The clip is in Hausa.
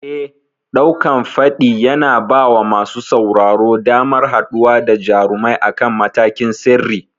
Eh, ɗaukan faɗi yana bawa masu sauraro damar haɗuwa da jarumai akan matakin sirri.